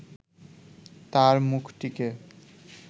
তাঁর মুখটিকে